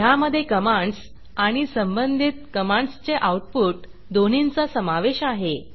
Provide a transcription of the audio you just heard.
ह्यामधे कमांडस आणि संबंधित कमांडसचे आऊटपुट दोन्हींचा समावेश आहे